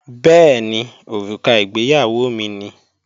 Bẹ́ẹ̀ni, òrùka ìgbéyàwó mi ni